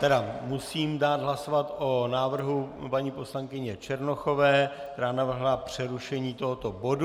Tedy musím dát hlasovat o návrhu paní poslankyně Černochové, která navrhla přerušení tohoto bodu.